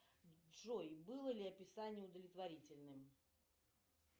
джой было ли описание удовлетворительным